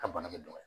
A bana bɛ dɔgɔya